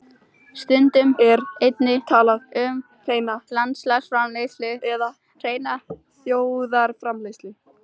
Stundum er einnig talað um hreina landsframleiðslu eða hreina þjóðarframleiðslu.